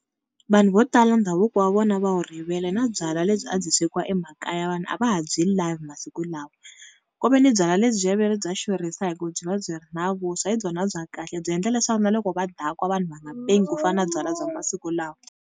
Vanhu vo tala ndhavuko wa vona va wu rivele na byalwa lebyi a byi swekiwa emakaya vanhu a va ha byi lavi masiku lawa, ku veni byalwa lebyiya va ri bya xurhisa hi ku byi va byi ri na vuswa hi byona bya kahle byi endla leswaku na loko va dakwa vanhu va nga pengi ku fana na byalwa bya masiku lawa.